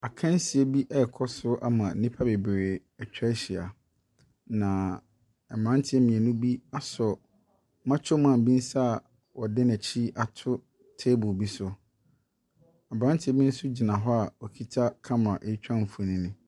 Akansie bi rekɔ so ama nnipa bebree atwa ahyia, na mmeranteɛ mmienu bi asɔ makyo man bi nsa a wɔde n'akyi ato table bi so. Aberanteɛ bi nso gyina hɔ a ɔkita kamera retwa mfonin.